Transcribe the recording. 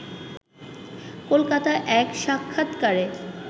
কলকাতায় এক সাক্ষাত্কারে